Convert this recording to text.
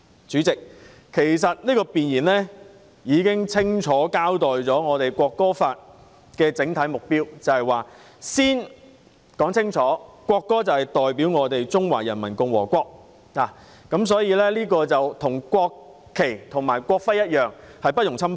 主席，弁言已經清楚交代《條例草案》的整體目標，清楚說明國歌代表中華人民共和國，國歌與國旗、國徽一樣，不容侵犯。